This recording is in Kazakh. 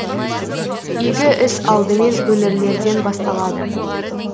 игі іс алдымен өңірлерден басталады